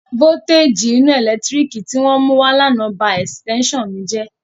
Vówútéjì iná ẹ̀lẹ́tírík tí wọ́n mú wá l'ánà ba ẹ̀sìtẹ́ṣàn mi jẹ́